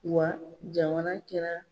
Wa jamana kɛra